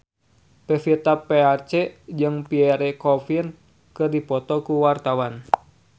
Pevita Pearce jeung Pierre Coffin keur dipoto ku wartawan